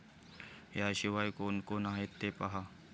याशिवाय कोण कोण आहेत ते पाहा